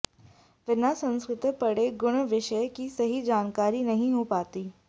विना संस्कृत पढ़े गूढ़ विषय की सही जानकारी नहीं हो पाती